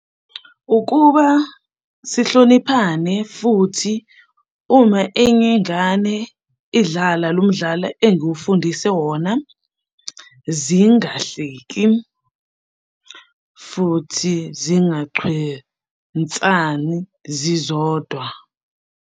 Ukuba sihloniphane futhi uma enye ingane idlala lo mdlalo engifundise wona, zingahleki, futhi zingachwensani zizodwa.